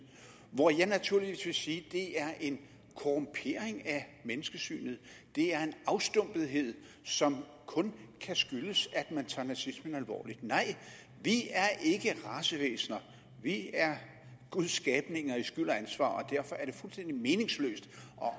hvor jeg naturligvis vil sige at det er en korrumpering af menneskesynet det er en afstumpethed som kun kan skyldes at man tager nazismen alvorligt nej vi er ikke racevæsener vi er guds skabninger i skyld og ansvar og derfor er det fuldstændig meningsløst